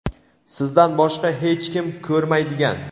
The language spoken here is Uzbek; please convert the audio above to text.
sizdan boshqa hech kim ko‘rmaydigan.